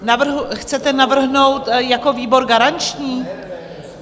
Chcete navrhnout jako výbor garanční?